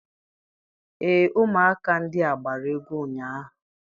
Ee, ụmụaka ndị a gbara egwu ụnyaahụ.